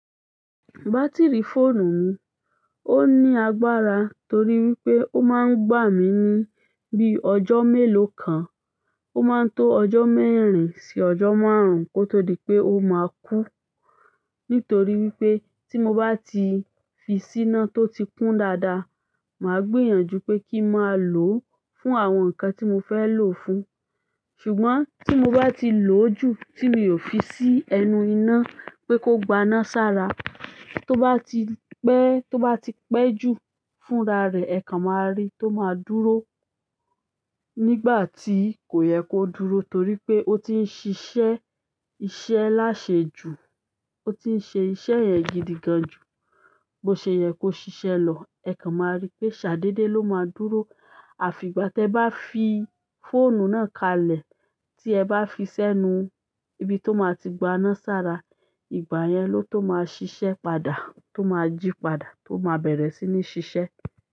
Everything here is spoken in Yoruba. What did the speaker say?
Batiri fóònù mi o ní agbára torí wípé ó máa ń gbà mí ní bí ọjọ́ mélòó kan. Ó máa ń tó ọjọ́ mẹ́rin sí ọjọ́ márùn-ún kó tó di pé ó máa kú. Nítorí wípé tí mo bá ti fi síná tó ti kún dáadáa, màá gbìyànjú pé kí máa lò ó fún àwọn ǹkan tí mo fẹ́ lò ó fún. Ṣùgbọ́n tí mo bá ti lò ó jù tí mi ò fi sí ẹnu iná pé kó gbaná sára, tó bá ti pẹ́, tó bá ti pẹ́ jù fúnra rẹ̀, ẹ kan máa rí tó máa dúró nígbà tí kò yẹ kó dúró, torí pé ó ti ń ṣiṣẹ́ iṣẹ́ láṣẹ jù. Ó ti ń ṣe iṣẹ́ yẹ̀n gidigan jù. Bo se ye ko ṣiṣẹ lọ, e kan ma ri pe sa dede lo ma dúró àfi ìgbà tí ẹ bá fi fóònù náà kalẹ̀ tí ẹ bá fi sẹ́nu, ibi tó máa ti gbaná sára, ìgbà yẹn ló tó máa ṣiṣẹ́ padà, tó máa jí padà, tó máa bẹ̀rẹ̀ sí ní ṣiṣẹ́.